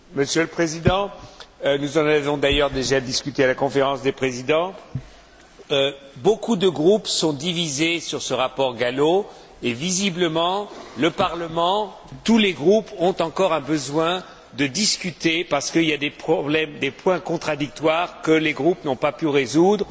Monsieur le Président, nous en avons d'ailleurs déjà discuté à la Conférence des présidents beaucoup de groupes sont divisés sur ce rapport Gallo et, visiblement, tous les groupes ont encore besoin de discuter parce qu'il y a des problèmes, des points contradictoires que les groupes n'ont pas pu résoudre.